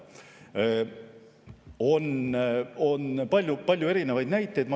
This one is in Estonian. On palju erinevaid näiteid.